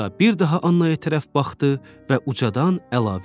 Sonra bir daha Annaya tərəf baxdı və ucadan əlavə elədi.